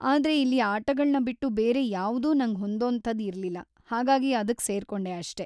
ಆದ್ರೆ ಇಲ್ಲಿ ಆಟಗಳ್ನ ಬಿಟ್ಟು ಬೇರೆ ಯಾವ್ದೂ ನಂಗ್‌ ಹೊಂದೋಂಥದ್‌ ಇರ್ಲಿಲ್ಲ, ಹಾಗಾಗಿ ಅದಕ್ ಸೇರ್ಕೊಂಡೆ ಅಷ್ಟೇ.